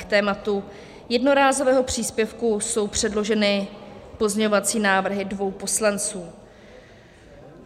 K tématu jednorázového příspěvku jsou předloženy pozměňovací návrhy dvou poslanců.